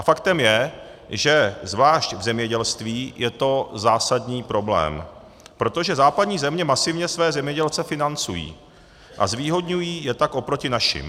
A faktem je, že zvlášť v zemědělství je to zásadní problém, protože západní země masivně své zemědělce financují a zvýhodňují je tak oproti našim.